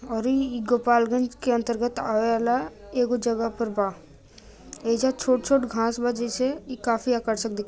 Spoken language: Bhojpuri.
गोपालगंज के अंतर्गत आवेवाला एगो जगह पर बा एजा छोट-छोट घांस बा जैसे ई काफ़ी आकर्षण दिख--